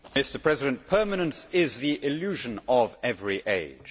Mr President, permanence is the illusion of every age.